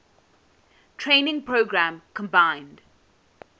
training program combined